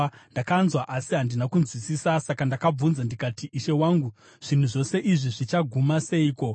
Ndakanzwa, asi handina kunzwisisa. Saka ndakabvunza ndikati, “Ishe wangu, zvinhu zvose izvi zvichaguma seiko?”